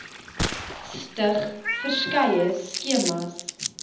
stig verskeie skemas